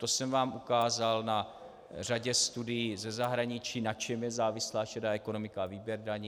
To jsem vám ukázal na řadě studií ze zahraničí, na čem je závislá šedá ekonomika a výběr daní.